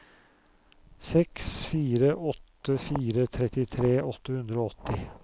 seks fire åtte fire trettitre åtte hundre og åtti